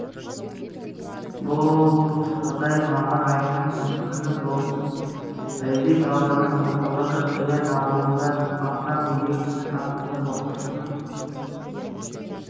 бұл жағдай мамыр айының күні болған бәйдібек ауданының орталығы шаян ауылында сабақтан үйге қайтқан сынып оқушысын